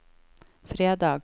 fredag